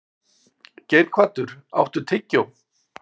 Geirhvatur, áttu tyggjó?